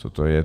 Co to je?